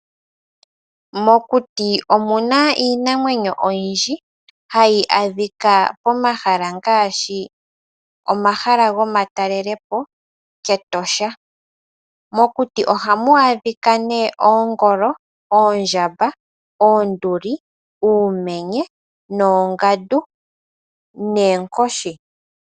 Mokuti omuna iinamwenyo oyindji hayi adhika pomahala ngaashi omahala gomatalelepo kEtosha. Mokuti oha mu adhika nee oongolo, oondjamba, oonduli, uumenye, noongandu noonkoshi.